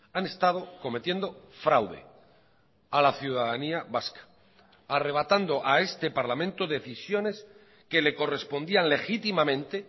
han estado cometiendo fraude a la ciudadanía vasca arrebatando a este parlamento decisiones que le correspondían legítimamente